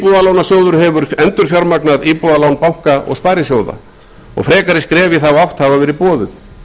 íbúðalánasjóður hefur endurfjármagnað íbúðalán banka og sparisjóða og frekari skref í þá átt hafa verið boðuð